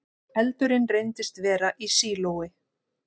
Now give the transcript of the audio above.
Eldurinn reyndist vera í sílói